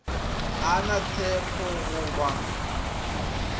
a na tshepo go ba